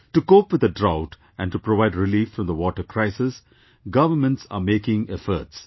To cope with the drought and to provide relief from the water crisis, governments are making efforts